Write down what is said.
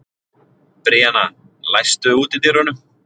Bríana, læstu útidyrunum.